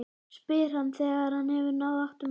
spyr hann þegar hann hefur náð áttum aftur.